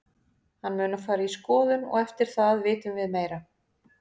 Hann mun fara í skoðun og eftir það vitum við meira.